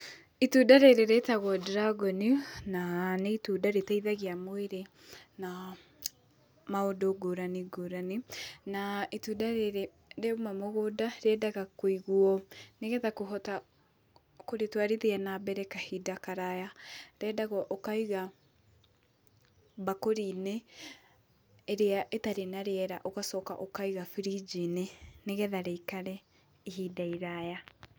Itunda rĩrĩ rĩtagwo dragon na nĩ itunda rĩteithagia mwĩrĩ na maũndũ ngũrani ngũrani, na itunda rĩrĩ rĩa uma mũgũnda rĩendaga kũigwo nĩgetha kũhota kũrĩtwarithia na mbere kahinda karaya Rĩendaga ũkaiga mbakũri-inĩ ĩrĩa ĩtarĩ na rĩera ũgacoka ũkaiga birinji-inĩ nĩgetha rĩikare ihinda iraya.